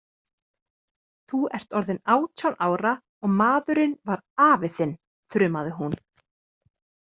Þú ert orðin átján ára og maðurinn var afi þinn, þrumaði hún.